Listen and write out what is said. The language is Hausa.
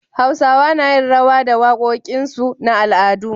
Hausawa nayin rawa da da waƙoƙinsu na al'adu